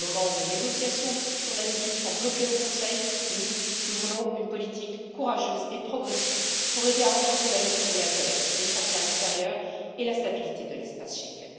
Au moment où les négociations sur l'asile sont bloquées au Conseil, nous, nous voulons une politique courageuse et progressiste pour aider à renforcer la gestion de l'accueil aux frontières extérieures et la stabilité de l'espace Schengen.